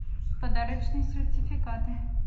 подарочные сертификаты